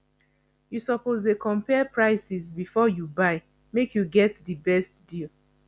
you suppose dey compare prices before you buy make you get di best deal